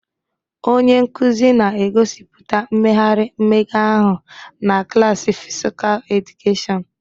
Onye nkuzi na-egosipụta mmegharị mmega ahụ na klaasị Physical Education